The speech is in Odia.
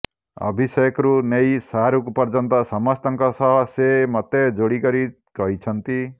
ଅଭିଷେକରୁ ନେଇ ଶାହାରୁଖ ପର୍ଯ୍ୟନ୍ତ ସମସ୍ତଙ୍କ ସହ ସେ ମୋତେ ଯୋଡ଼ି କରି କହିଛନ୍ତି